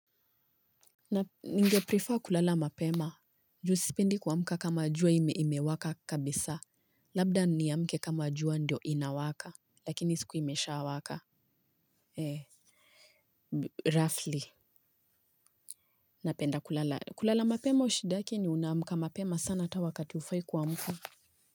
Ninge prefer kulala mapema. Juu sipendi kwa mka kama jua ime imewaka kabisa. Labda niamke kama jua ndio inawaka. Lakini isikue imeshaa waka. He, roughly. Napenda kulala. Kulala mapema shidake ni unamka mapema sana hata wakati ufai kwa mka.